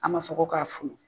An man fɔ ko k'a funu.